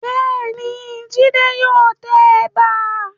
Bẹ́ẹ̀ni, Jídé yóò tẹ ẹ̀bà.